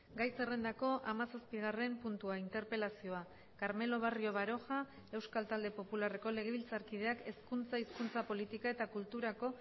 gai zerrendako hamazazpigarren puntua interpelazioa carmelo barrio baroja euskal talde popularreko legebiltzarkideak hezkuntza hizkuntza politika eta kulturako